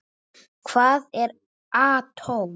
Hvað er atóm?